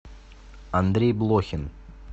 андрей блохин